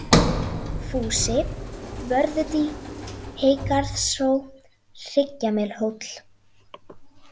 Fúsi, Vörðudý, Heygarðshró, Hryggjamelhóll